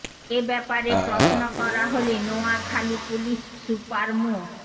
এ ব্যাপারে প্রশ্ন করা হলে নোয়াখালী পুলিশ সুপার মো